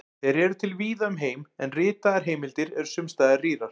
Þeir eru til víða um heim, en ritaðar heimildir eru sums staðar rýrar.